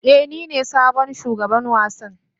Ee, nine sabon shugaban wasan.